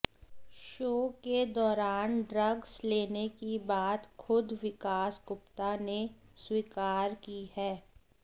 show के दौरान drugs लेने की बात खुद विकास गुप्ता ने स्वीकार की है